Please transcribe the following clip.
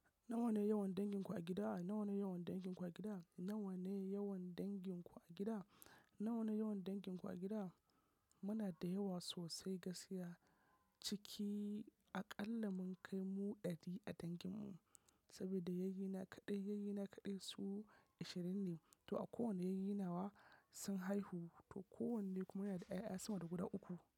Nawa ne yawan danginku a gida? Nawa ne yawan danginku a gida? Nawa ne yawan danginku a gida? Nawa ne yawan danginku a gida? Muna da yawa sosai gaskiya. Ciki aƙalla mun kai mu ɗari a danginmu saboda yayyina kaɗai yayyina kaɗai su ashirin ne. To a kowane yayyinawa sun haihu, to kowanne kuma yana da 'ya'ya sama da guda uku.